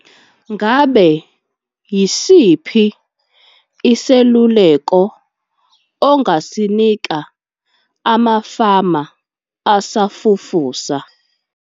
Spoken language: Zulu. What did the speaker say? Ngabe yisiphi iseluleko ongasinika amafama asafufusa?